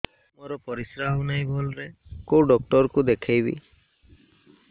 ମୋର ପରିଶ୍ରା ହଉନାହିଁ ଭଲରେ କୋଉ ଡକ୍ଟର କୁ ଦେଖେଇବି